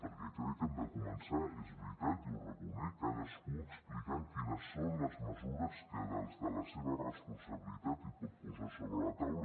perquè crec que hem de començar és veritat i ho reconec cadascú explicant quines són les mesures que des de la seva responsabilitat pot posar sobre la taula